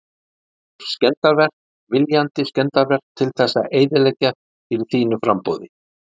Höskuldur: Skemmdarverk, viljandi skemmdarverk til þess að eyðileggja fyrir þínu framboði?